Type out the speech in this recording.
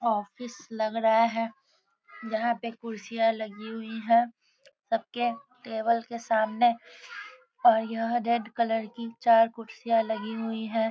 Office लग रहा है यहां पे कुर्सियाँ लागि हुई है सबके टेबल के सामने ओर यहां रेड कलर की चार कुर्सियाँ लागि हुई है।